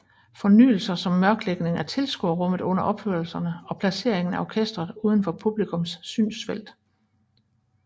Fornyelser som mørklægning af tilskuerrummet under opførelserne og placeringen af orkestret uden for publikums synsfelt